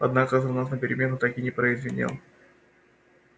однако звонок на перемену так и не прозвенел